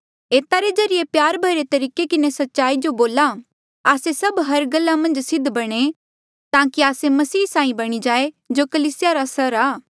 एता रे बजाय प्यार भरे तरीके किन्हें सच्चाई जो बोला आस्से सभ हर गल्ला मन्झ सिद्ध बणे ताकि आस्से मसीह साहीं बणी जाये जो कलीसिया रा सिर आ